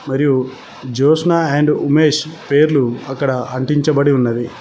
మరియు జ్యోత్స్న అండ్ ఉమేష్ పేర్లు అక్కడ అంటించబడి ఉన్నది.